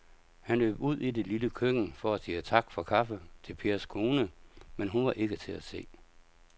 Han løb ud i det lille køkken for at sige tak for kaffe til Pers kone, men hun var ikke til at se.